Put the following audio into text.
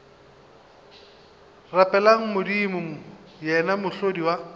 rapeleng modimo yena mohlodi wa